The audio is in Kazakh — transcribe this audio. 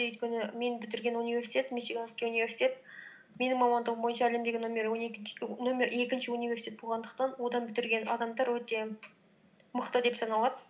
өйткені мен бітірген университет мичиганский университет менің мамандығым бойынша әлемдегі нөмір нөмір екінші университет болғандықтан одан бітірген адамдар өте мықты деп саналады